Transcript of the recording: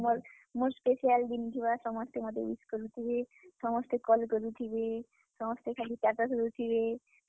ମୋର୍ special ଦିନ୍ ଥିବା, ସମସ୍ତେ ମତେ wish କରୁଥିବେ। ସମସ୍ତେ ମତେ call କରୁଥିବେ, ସମସ୍ତେ ଖାଲି status ଦେଉଥିବେ।